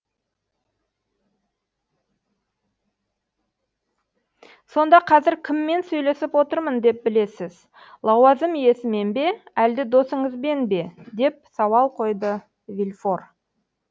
сонда қазір кіммен сөйлесіп отырмын деп білесіз лауазым иесімен бе әлде досыңызбен бе деп сауал қойды вильфор